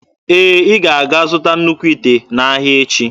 Ee, ị ga-aga zụta nnukwu ite n'ahịa echi.